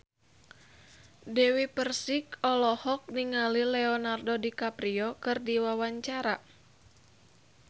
Dewi Persik olohok ningali Leonardo DiCaprio keur diwawancara